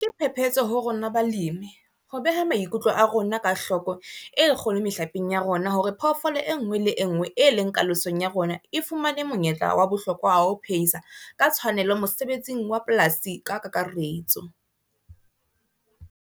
Ke phephetso ho rona balemi, ho beha maikutlo a rona ka hloko e kgolo mehlapeng ya rona hore phoofolo e nngwe le e nngwe e leng kalosong ya rona e fumane monyetla wa bohlokwa wa ho phehisa ka tshwanelo mosebetsing wa polasi ka kakaretso.